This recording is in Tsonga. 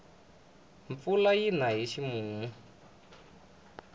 mpfula yina hi ximumu